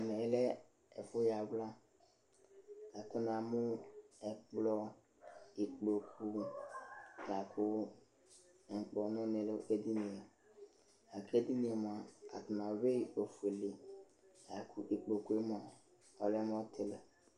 Ɛmɛ yɛ lɛ ɛfʋyawla la kʋ namʋ ɛkplɔ, ikpoku la kʋ ŋkpɔnʋnɩ dʋ edini yɛ la kʋ edini yɛ mʋa, atanɩ ayʋɩ ofuele la kʋ ikpoku yɛ mʋa, ɔlɛ mʋ ɔtɩlɩ